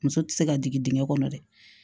Muso tɛ se ka jigin